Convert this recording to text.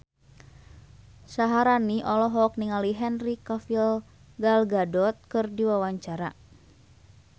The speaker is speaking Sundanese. Syaharani olohok ningali Henry Cavill Gal Gadot keur diwawancara